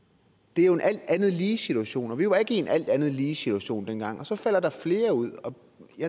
det er jo en alt andet lige situation og vi var ikke i en alt andet lige situation dengang og så falder der flere ud og